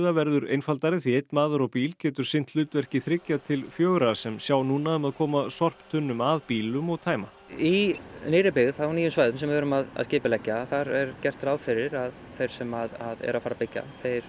verður einfaldari því einn maður á bíl getur sinnt hlutverki þriggja til fjögurra sem sjá núna um að koma sorptunnum að bílum og tæma í nýrri byggð sem við erum að skipuleggja er gert ráð fyrir að þeir sem byggja